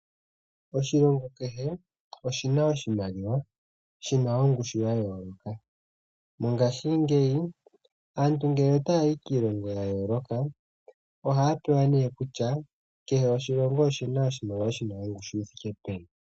Oshilongo kehe oshi na oshimaliwa shi na ongushu ya yooloka, mongashingeyi aantu ngele otaya yi kiilongo ya yooloka ohaa pewa nee kutya kehe oshilongo oshi na oshimaliwa shi na ongushu yi thike peni.